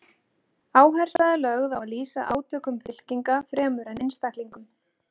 Áhersla er lögð á að lýsa átökum fylkinga fremur en einstaklingum.